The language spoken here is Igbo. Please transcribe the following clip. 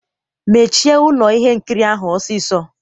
Mechie ụlọ ihe nkiri ahụ ọsịsọ!